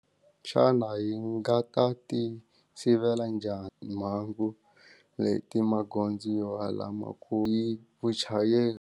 Xana yi nga ka ti sivela njhani mhangu leti magondzo vuchayeri.